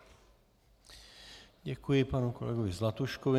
Děkuji panu kolegovi Zlatuškovi.